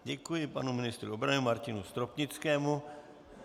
Děkuji panu ministru obrany Martinu Stropnickému.